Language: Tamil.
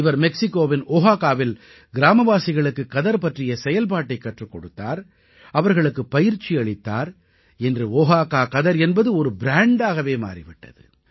இவர் மெக்சிகோவின் ஓஹாகாவில் கிராமவாசிகளுக்குக் கதர் பற்றிய செயல்பாட்டைக் கற்றுக் கொடுத்தார் அவர்களுக்குப் பயிற்சி அளித்தார் இன்று ஓஹாகா கதர் என்பது ஒரு ப்ராண்டாகவே மாறி விட்டது